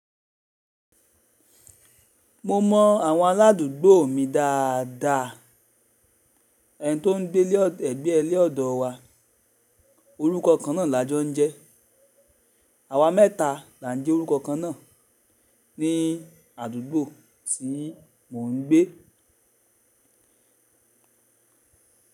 Mo mọ àwọn aládùúgbò mi dáadáa, ẹni tó ń gbé ẹ̀gbẹ́ ilé ọ̀dọ̀ wa orúkọ kan náà làá jọ ń jẹ́. Àwa mẹ́ta là ń jẹ́ orúkọ kan náà ní àdúgbò tí mo ń gbé.